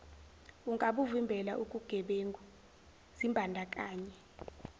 ungabuvimbela ukugebengu zimbandakanye